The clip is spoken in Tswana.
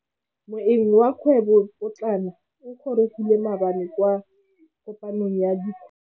Moêng wa dikgwêbô pôtlana o gorogile maabane kwa kopanong ya dikgwêbô.